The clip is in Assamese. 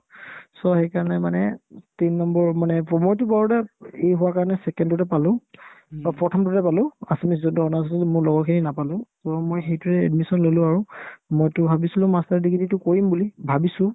so, সেইকাৰণে মানে তিন নম্বৰ মানে প্ৰ মইতো পঢ়োতে ই হোৱা কাৰণে second তে পালো to প্ৰথমতোতে পালো assamese যোনতো honours আছে কিন্তু মোৰ লগৰখিনি নাপালে so মই সেইটোতে admission ল'লো আৰু মইতো ভাবিছিলো master degree তো কৰিম বুলি ভাবিছো